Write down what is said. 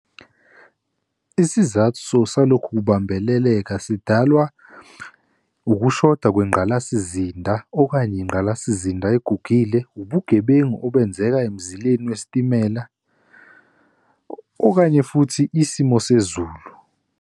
Isizathu salokhu kubambeleleka sidalwa ukushoda kwengqalasizinda okanye ingqalasizinda egugile, ubugebengu obenzeka emzileni wesitimela, okanye futhi isimo sezulu.